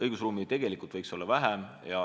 Õigusruumi võiks olla vähem.